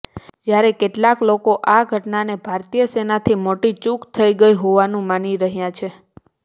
જ્યારે કેટલાક લોકો આ ઘટનાને ભારતીય સેનાથી મોટી ચૂક થઈ ગઈ હોવાનું માની રહ્યા છે